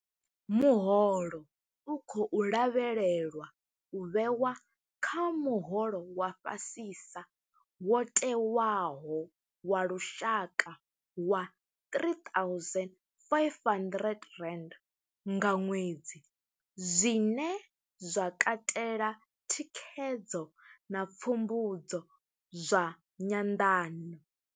Muholo u khou lavhelelwa u vhewa kha muholo wa fhasisa wo tewaho wa lushaka wa R3 500 nga ṅwedzi, zwine zwa katela thikhedzo na pfumbudzo zwa nyanḓano.